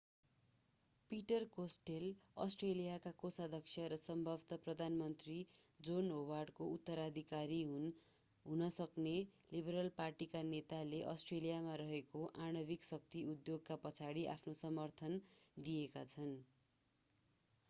Peter Costello अस्ट्रेलियाका कोषाध्यक्ष र सम्भवतः प्रधानमन्त्री जोन होवार्डको उत्तराधिकारी हुन सक्ने लिबरल पार्टीका नेताले अस्ट्रेलियामा रहेको आणविक शक्ति उद्योगका पछाडि आफ्नो समर्थन दिएका छन्